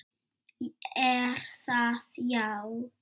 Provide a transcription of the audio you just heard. Er það, já?